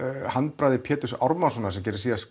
handbragði Péturs Ármannssonar sem gerði síðast